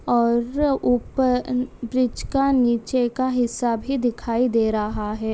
और उप अ ब्रिज का नीचे का हिस्सा भी दिखाई दे रहा है।